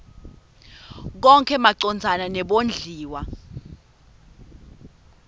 konkhe macondzana nebondliwa